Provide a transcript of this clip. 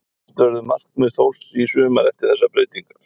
Hvert verður markmið Þórs í sumar eftir þessar breytingar?